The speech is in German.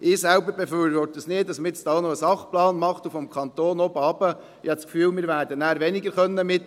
Ich selber befürworte es nicht, dass man nun vom Kanton, von oben herunter, noch einen Sachplan macht.